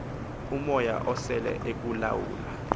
umoya usele ekulawula